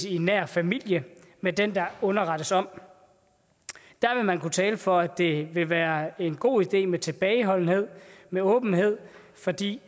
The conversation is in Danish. i nær familie med den der underrettes om der vil man kunne tale for at det vil være en god idé med tilbageholdenhed med åbenhed fordi